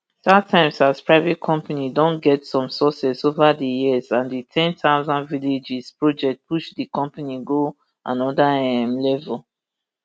startimes as private company don get some success ova di years and di ten thousand villages project push di company go anoda um level